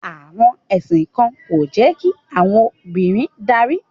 Àwọn ẹ̀sìn kan kò jẹ́ kí àwọn obìnrin darí